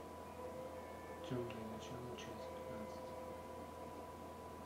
темные начала часть пятнадцать